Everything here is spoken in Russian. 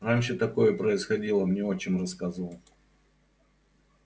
раньше такое происходило мне отчим рассказывал